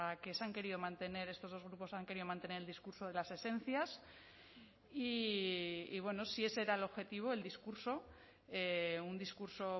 que se han querido mantener estos dos grupos han querido mantener el discurso de las esencias y bueno si ese era el objetivo el discurso un discurso